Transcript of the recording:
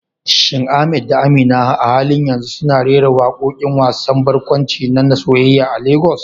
Shin Ahmad da Amina a halin yanzu suna rera waƙoƙin wasan barkwanci na soyayya a Legas?